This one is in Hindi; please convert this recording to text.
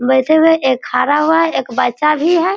बैठे हुए है एक खड़ा हुआ है एक बच्चा भी है।